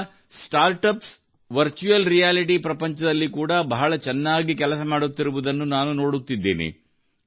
ನಮ್ಮ startups virtual reality ಪ್ರಪಂಚದಲ್ಲಿ ಕೂಡಾ ಬಹಳ ಚೆನ್ನಾಗಿ ಕೆಲಸ ಮಾಡುತ್ತಿರುವುದನ್ನು ನಾನು ನೋಡುತ್ತಿದ್ದೇನೆ